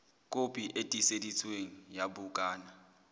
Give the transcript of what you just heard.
kopi e tiiseditsweng ya bukana